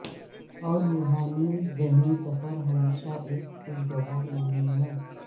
اور روحانی ذہنی سفر ہمیشہ ایک خوشگوار نہیں ہے